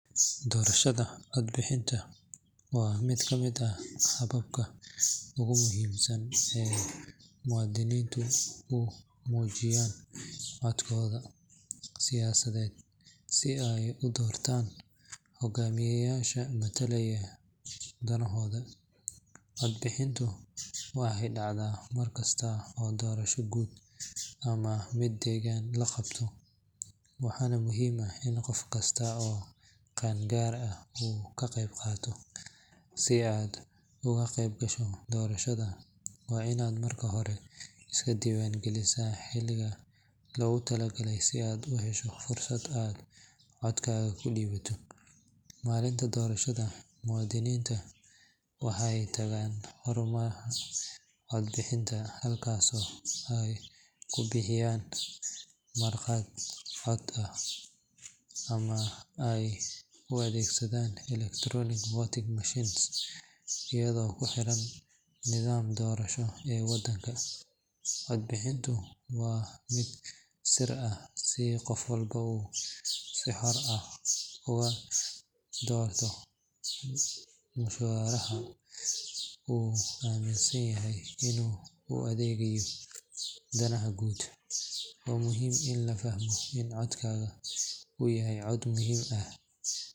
Doorashada codbixinta waa mid ka mid ah hababka ugu muhiimsan ee muwaadiniintu ku muujiyaan codkooda siyaasadeed si ay u doortaan hogaamiyeyaasha matalaya danahooda. Cod-bixintu waxay dhacdaa mar kasta oo doorasho guud ama mid degaan la qabto, waxaana muhiim ah in qof kasta oo qaan gaar ah uu ka qeyb qaato. Si aad uga qeyb gasho doorashada, waa inaad marka hore iska diiwaan gelisaa xilliga loogu talagalay si aad u hesho fursad aad codkaaga u dhiibato. Maalinta doorashada, muwaadiniinta waxay tagaan xarumaha codbixinta, halkaasoo ay ku buuxinayaan warqad cod ah ama ay u adeegsadaan electronic voting machines, iyadoo ku xiran nidaamka doorasho ee wadanka. Cod-bixintu waa mid sir ah si qof walba uu si xor ah ugu doorto musharaxa uu aaminsan yahay inuu u adeegayo danaha guud. Waa muhiim in la fahmo in codkaagu uu yahay cod muhiim ah.